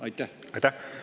Aitäh!